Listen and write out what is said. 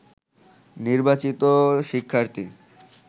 নির্বাচিত শিক্ষার্থী